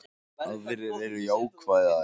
Aðrir eru jákvæðari